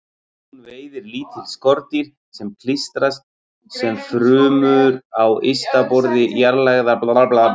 Hún veiðir lítil skordýr með klístri sem frumur á ysta borði jarðlægra blaða hennar seyta.